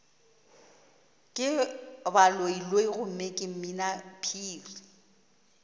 ke baloiloi gomme ke mminaphiri